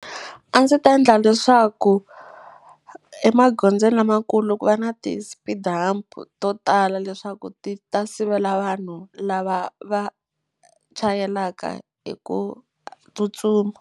A ndzi ta endla leswaku emagondzweni lamakulu ku va na ti-speed hump to tala leswaku ti ta sivela vanhu lava va chayelaka hi ku tsutsuma.